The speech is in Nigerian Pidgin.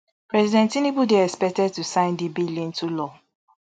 president tinubu dey expected to sign di bill into law